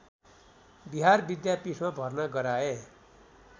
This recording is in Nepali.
बिहार विद्यापीठमा भर्ना गराए